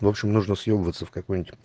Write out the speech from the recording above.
в общем нужна съебываться в какой-нибудь